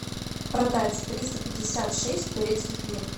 продать триста пятьдесят шесть турецких лир